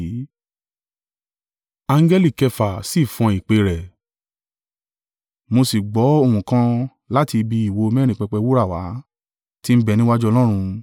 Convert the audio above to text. Angẹli kẹfà si fọn ìpè rẹ̀, mo sì gbọ́ ohùn kan láti ibi ìwo mẹ́rin pẹpẹ wúrà wá, tí ń bẹ níwájú Ọlọ́run.